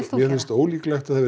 mér finnst ólíklegt að það verði